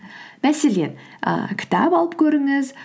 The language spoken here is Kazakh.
мәселен ііі кітап алып көріңіз